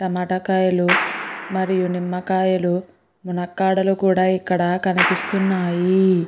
టమాటా కాయలు మరియు నిమ్మకాయలు మునక్కాడలు కూడా ఇక్కడ కనిపిస్తున్నాయి.